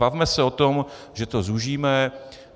Bavme se o tom, že to zúžíme.